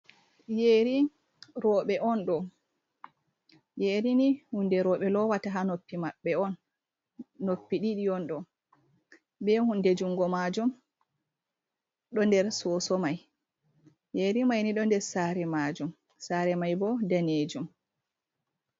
Yeri roɓe on ɗo, yerini hunde roɓe lowata ha noppi maɓɓe on, noppi ɗiɗi on ɗo, be hunde jungo majum, ɗon der soso mai yeri maini ɗo der sare majum sare mai bo danejum.